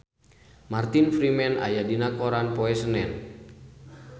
Martin Freeman aya dina koran poe Senen